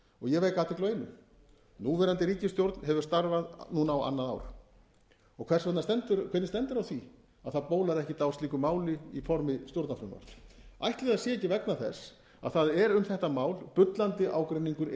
ég vek athygli á einu núverandi ríkisstjórn hefur starfað núna á annað ár og hvernig stendur á því að það bólar ekkert á slíku máli í formi stjórnarfrumvarps ætli það sé ekki vegna þess að það er um þetta mál bullandi ágreiningur